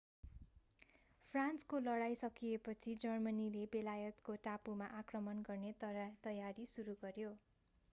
फ्रान्सको लडाईं सकिएपछि जर्मनीले बेलायतको टापुमा आक्रमण गर्ने तयारी सुरु गर्यो